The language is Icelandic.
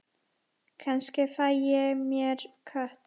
Kannski fæ ég mér kött.